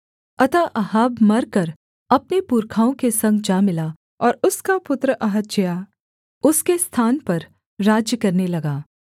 अतः अहाब मरकर अपने पुरखाओं के संग जा मिला और उसका पुत्र अहज्याह उसके स्थान पर राज्य करने लगा